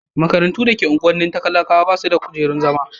makarantu da ke unguwannin talakawa basu da kujerun zama